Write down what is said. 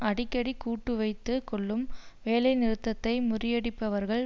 அடிக்கடி கூட்டு வைத்து கொள்ளும் வேலைநிறுத்ததை முறியடிப்பவர்கள்